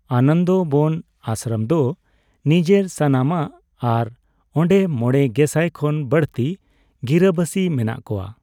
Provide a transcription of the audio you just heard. ᱟᱱᱚᱫᱚᱵᱚᱱ ᱟᱥᱨᱚᱢ ᱫᱚ ᱱᱤᱡᱮᱨ ᱥᱟᱱᱟᱢᱟᱜ, ᱟᱨ ᱚᱸᱰᱮ ᱢᱚᱲᱮ ᱜᱮᱥᱟᱭ ᱠᱷᱚᱱ ᱵᱟᱹᱲᱛᱤ ᱜᱤᱨᱟᱹᱵᱟᱥᱤ ᱢᱮᱱᱟᱜ ᱠᱚᱣᱟ ᱾